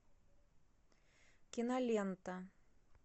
кинолента